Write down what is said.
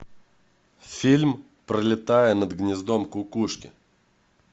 фильм пролетая над гнездом кукушки